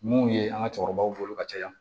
Mun ye an ka cɛkɔrɔbaw bolo ka caya